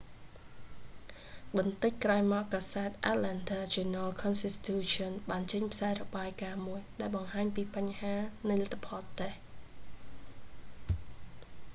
បន្តិចក្រោយមក កាសែត atlanta journal-constitution បានចេញផ្សាយរបាយការណ៍មួយ ដែលបង្ហាញពីបញ្ហានៃលទ្ធផលតេស្ត